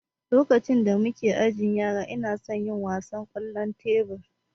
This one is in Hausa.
lokacin da muna ajin yara inason yin wasan kwallon tebur